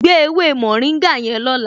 Gbé ewé mórìngà yẹn lọ́la